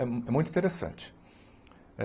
É é muito interessante.